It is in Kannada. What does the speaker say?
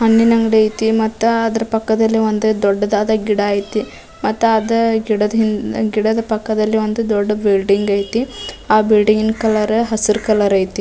ಹಣ್ಣಿನ್ ಅಂಗಡಿ ಐತಿ ಮತ್ತ ಅದ್ರ ಪಕ್ಕದಲ್ಲಿ ಒಂದ್ ದೊಡ್ಡದಾದ ಗಿಡ ಐತಿ ಮತ್ತಾದ ಗಿಡದ್ ಹಿಂದ್ ಗಿಡದ ಪಕ್ಕದಲ್ಲಿ ಒಂದ್ ದೊಡ್ಡ ಬಿಲ್ಡಿಂಗ್ ಐತಿ ಆ ಬಿಲ್ಡಿಂಗ್ ನ ಕಲರ್ ಹಸಿರ್ ಕಲರ್ ಐತಿ.